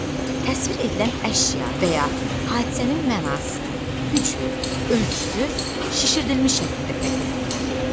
Təsvir edilən əşya və ya hadisənin mənası, gücü, ölçüsü şişirdilmiş şəkildə təqdim olunur.